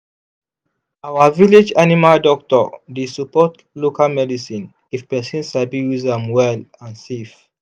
our village animal doctor dey support local medicine if person sabi use am well and safe.